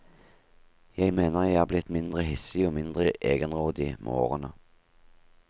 Jeg mener jeg er blitt mindre hissig og mindre egenrådig med årene.